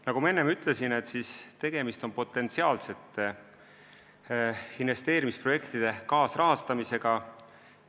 Nagu ma enne ütlesin, tegemist on potentsiaalsete investeerimisprojektide kaasrahastamisega.